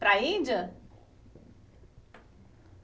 Para a Índia?